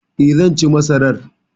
E, zan ci masarar.